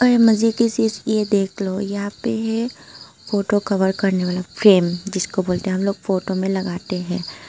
देख लो यहां पे फोटो कवर करने वाला फ्रेम जिसको बोलते हम लोग फोटो में लगाते हैं।